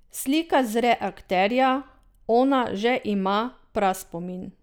Slika zre akterja, ona že ima praspomin.